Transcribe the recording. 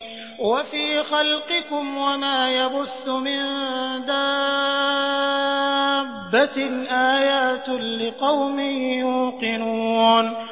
وَفِي خَلْقِكُمْ وَمَا يَبُثُّ مِن دَابَّةٍ آيَاتٌ لِّقَوْمٍ يُوقِنُونَ